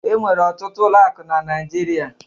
E nwere ọtụtụ ụlọ akụ na Naijiria